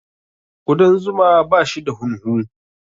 Ƙudan zuma bashi da hunhu.